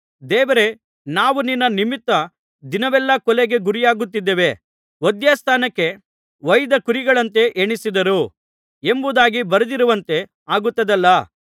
ದೇವರೇ ನಾವು ನಿನ್ನ ನಿಮಿತ್ತ ದಿನವೆಲ್ಲಾ ಕೊಲೆಗೆ ಗುರಿಯಾಗುತ್ತಿದ್ದೇವೆ ವಧ್ಯಸ್ಥಾನಕ್ಕೆ ಒಯ್ದ ಕುರಿಗಳಂತೆ ಎಣಿಸಿದರು ಎಂಬುದಾಗಿ ಬರೆದಿರುವಂತೆ ಆಗುತ್ತದಲ್ಲಾ